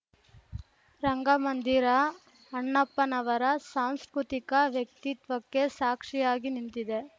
ರಂಗಮಂದಿರ ಅಣ್ಣಪ್ಪನವರ ಸಾಂಸ್ಕೃತಿಕ ವ್ಯಕ್ತಿತ್ವಕ್ಕೆ ಸಾಕ್ಷಿಯಾಗಿ ನಿಂತಿದೆ